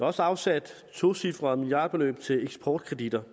også afsat et tocifret milliardbeløb til eksportkreditter